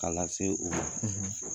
K'a lase u ma.